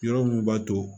Yɔrɔ mun b'a to